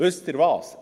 Wissen Sie was?